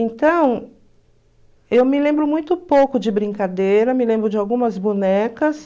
Então, eu me lembro muito pouco de brincadeira, me lembro de algumas bonecas,